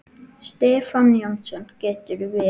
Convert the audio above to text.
Stefán Jónsson getur verið